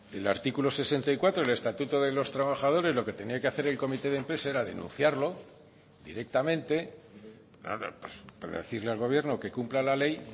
el artículo sesenta y cuatro del estatuto de los trabajadores lo que tenía que hacer el comité de empresa era denunciarlo directamente decirle al gobierno que cumpla la ley